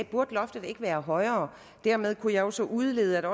burde loftet ikke være højere dermed kunne jeg så udlede at